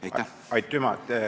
Aitüma!